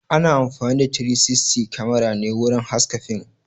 Ana amfani da "360 Camera" ne wurin haska fim